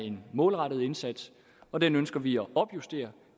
en målrettet indsats og den ønsker vi at opjustere